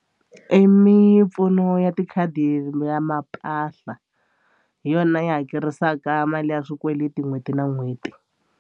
I mimpfuno ya tikhadi ya mampahla hi yona yi hakerisaka mali ya swikweleti n'hweti na n'hweti.